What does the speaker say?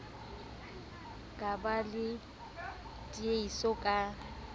ka ba le tiehiso ka